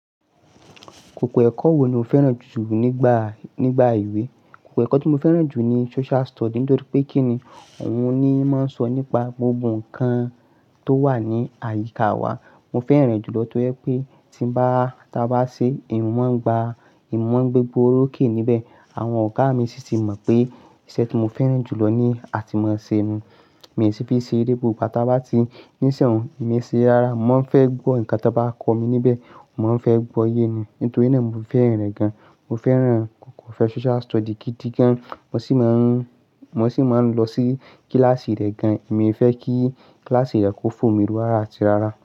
Kòkò ẹ́kọ́ wo ni o fẹ́ràn jù nígbà, nígbà ìwé? Kòkò ẹ́kọ́ tí mo fẹ́ràn jù ni Social Study, nítorí pé kíni òun ni ó máa ń sọ nípa gbogbo ǹkan tó wà ní àyíká wa. Mo fẹ́ràn rẹ̀ jùlọ nítorí pé tí bá, tí a bá ṣe, emiì máa ń gba, emì máa ń gbégbóoró ké níbẹ̀. Àwọn ọ̀gá mi sì ti mọ̀ pé iṣẹ́ tí mo fẹ́ràn jùlọ ni àti máa ṣe nu. Mi sì fi n ṣeré gbogbo gbá ta bá ti níṣẹ̀ ọ̀ún, èmi i ṣere rara, mo máa ń fẹ́ gbọ́ ǹkan tí wọ́n bá kọ́ mi níbẹ̀, mo máa ń fẹ́ gbọ́ yé ni. Nítorí náà mo fẹ́ràn rẹ̀ gan. Mo fẹ́ràn kòkò ẹ́ko Social Study gidi gan. Mo sì máa ń, mo sì máa ń lọ sí kíláàsì rẹ̀ gan. Èmi fẹ́ kí kíláàsì rẹ̀ kó fò mí rú rara àti rara.